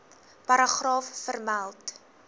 paragraaf vermeld